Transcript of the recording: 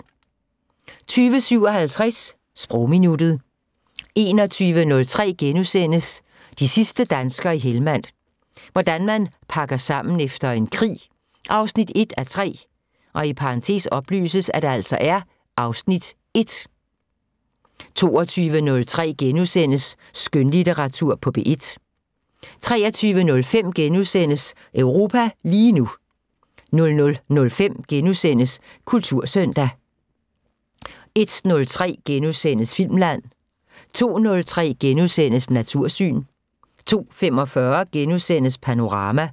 20:57: Sprogminuttet 21:03: De sidste danskere i Helmand – hvordan man pakker sammen efter en krig 1:3 (Afs. 1)* 22:03: Skønlitteratur på P1 * 23:05: Europa lige nu * 00:05: Kultursøndag * 01:03: Filmland * 02:03: Natursyn * 02:45: Panorama